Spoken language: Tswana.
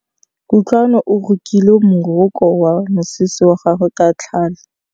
Kutlwanô o rokile morokô wa mosese wa gagwe ka tlhale.